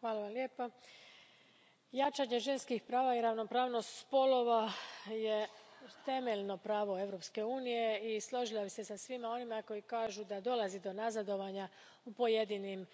Poštovani predsjedavajući, jačanje ženskih prava i ravnopravnost spolova temeljno je pravo Europske unije i složila bih se sa svima onima koji kažu da dolazi do nazadovanja u pojedinim